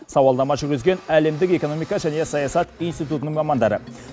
сауалнама жүргізген әлемдік экономика және саясат институтының мамандары